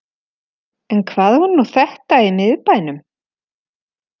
En hvað var nú þetta í miðbænum?